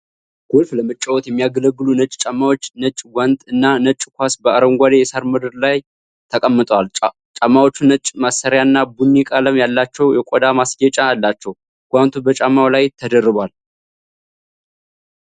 ጎልፍ ለመጫወት የሚያገለግሉ ነጭ ጫማዎች፣ ነጭ ጓንት እና ነጭ ኳስ በአረንጓዴ የሣር ምንጣፍ ላይ ተቀምጠዋል። ጫማዎቹ ነጭ ማሰሪያና ቡኒ ቀለም ያላቸው የቆዳ ማስጌጫ አላቸው። ጓንቱ በጫማው ላይ ተደርቧል።